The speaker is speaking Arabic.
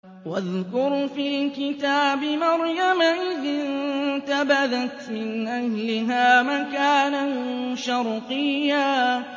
وَاذْكُرْ فِي الْكِتَابِ مَرْيَمَ إِذِ انتَبَذَتْ مِنْ أَهْلِهَا مَكَانًا شَرْقِيًّا